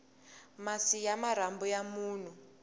masi ya marhambu ya munhu